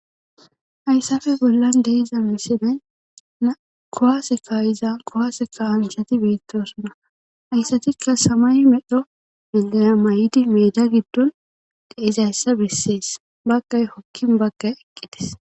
Hayssafe bollan deiza misinay na kowaaseka iza kowaaseka anchati beettosunna hayssatikka samay medho migana may'di meeda giddon deizayssa bessees bagkay hokkin bagkay eqqites.